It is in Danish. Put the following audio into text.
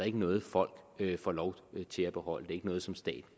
ikke noget folk får lov til at beholde det er ikke noget som staten